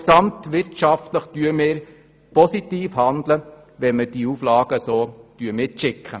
Gesamtwirtschaftlich handeln wir positiv, wenn wir diese Auflagen so mitschicken.